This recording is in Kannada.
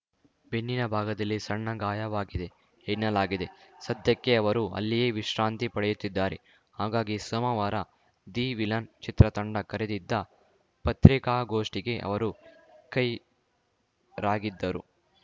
ಬೆನ್ನಿನ ಭಾಗದಲ್ಲಿ ಸಣ್ಣ ಗಾಯವಾಗಿದೆ ಎನ್ನಲಾಗಿದೆ ಸದ್ಯಕ್ಕೆ ಅವರು ಅಲ್ಲಿಯೇ ವಿಶ್ರಾಂತಿ ಪಡೆಯುತ್ತಿದ್ದಾರೆ ಹಾಗಾಗಿ ಸೋಮವಾರ ದಿ ವಿಲನ್‌ ಚಿತ್ರತಂಡ ಕರೆದಿದ್ದ ಪತ್ರಿಕಾಗೋಷ್ಠಿಗೆ ಅವರು ಗೈರಾಗಿದ್ದರು